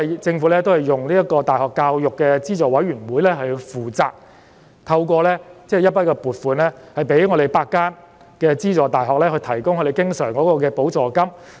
政府讓大學教育資助委員會負責處理政府撥款，向8間資助大學提供經常補助金。